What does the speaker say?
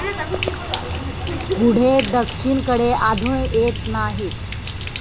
पुढे दक्षिण कडे आढळून येत नाहीत.